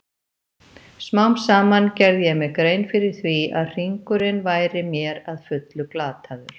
Smám saman gerði ég mér grein fyrir því að hringurinn væri mér að fullu glataður.